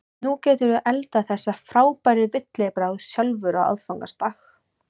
Nú geturðu eldað þessa frábæru villibráð sjálfur á aðfangadag.